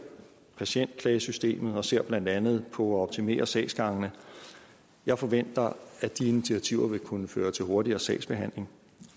patientklagesystemet og ser blandt andet på at optimere sagsgangene jeg forventer at de initiativer vil kunne føre til en hurtigere sagsbehandling